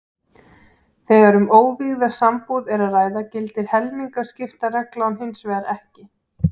Þegar um óvígða sambúð er að ræða gildir helmingaskiptareglan hins vegar ekki.